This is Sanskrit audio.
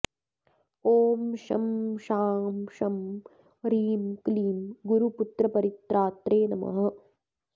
ॐ शं शां षं ह्रीं क्लीं गुरुपुत्रपरित्रात्रे नमः